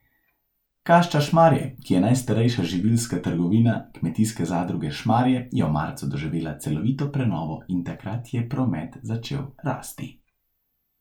Kašča Šmarje, ki je najstarejša živilska trgovina Kmetijske zadruge Šmarje, je v marcu doživela celovito prenovo in takrat je promet začel rasti.